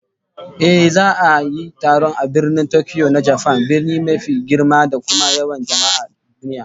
Ehh, za'a yi taron a Birnin Tokyo na Japan, birni mafi girma da kuma yawan jama'a a duniya